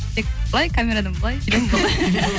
тек былай камерадан былай